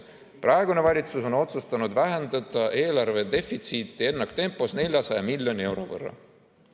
Praegune valitsus on otsustanud vähendada eelarve defitsiiti ennaktempos, 400 miljoni euro võrra.